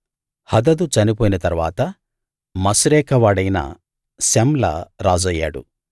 హదదు చనిపోయిన తరువాత మశ్రేకా వాడైన శమ్లా రాజయ్యాడు